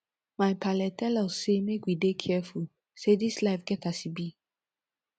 my paale tel us sey make we dey careful say dis life get as e be